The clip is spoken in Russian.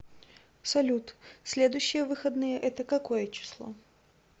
салют следующие выходные это какое число